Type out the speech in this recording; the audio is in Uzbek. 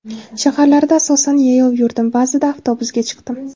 Shaharlarda asosan yayov yurdim, ba’zida avtobusga chiqdim.